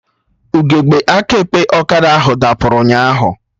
Ugegbe aka ekpe ọkada ahụ dapụrụ ụnyaahụ